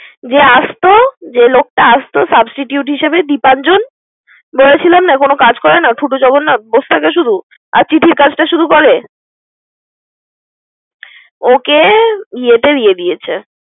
দে আসতো, যে লোকটা আসতো substitute হিসেবে দীপাঞ্জন বলেছিলাম না কোন কাজ করে না বসে থাকে শুধু। এসে কাজটা শুরু করে ওকে ইয়েত দিয়েছে।